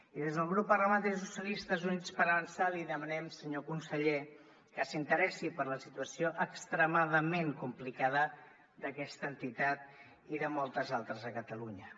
i des del grup parlamentari socialistes i units per avançar li demanem senyor conseller que s’interessi per la situació extremadament complicada d’aquesta entitat i de moltes altres a catalunya